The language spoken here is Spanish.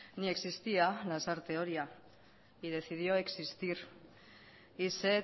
ni existía lasarte oria y decidió existir y se